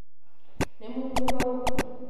nĩ muumu hau?